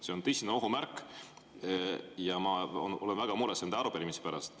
See on tõsine ohu märk ja ma olen väga mures nende arupärimiste pärast.